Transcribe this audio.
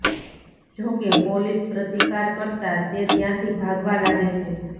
જોકે પોલીસ પ્રતિકાર કરતા તે ત્યાંથી ભાગવા લાગે છે